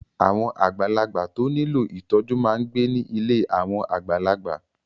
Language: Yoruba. Àwọn àgbàlagbà tó nílò ìtọ́jú máa ń gbé ní ilé àwọn àgbàlagbà.